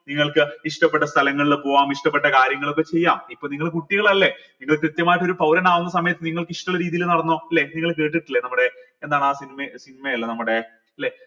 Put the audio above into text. നിങ്ങൾക്ക് ഇഷ്ടപ്പെട്ട് സ്ഥലങ്ങളിൽ പോവാം ഇഷ്ടപ്പെട്ട കാര്യങ്ങളൊക്കെ ചെയ്യാം ഇപ്പോ നിങ്ങള് കുട്ടികളല്ലേ നിങ്ങൾ കൃത്യമായിട്ട് ഒരു പൗരൻ ആവുന്ന സമയത്ത് നിങ്ങൾക്ക് ഇഷ്ട്ടിള്ള രീതിയിൽ നടന്നോ ല്ലെ നിങ്ങൾ കേട്ടിട്ടില്ലേ നമ്മടെ എന്താണ് ആ cinema അല്ല നമ്മടെ